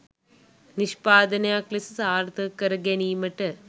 නිෂ්පාදනයක් ලෙස සාර්ථක කරගැනීමට